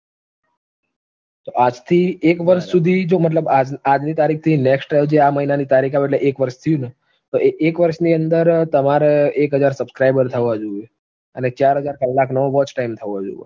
આજથી એક વર્ષ સુધી જો મતલબ આજ આજની તારીખથી next year આ મહિનાની તારીખ આવ એટલે એક વર્ષ થયું ન તો એ એક વર્ષની અંદર તમારે એક હજાર subscriber થવા જોવે અને ચાર હજાર કલાકનો watch time થવો જોવ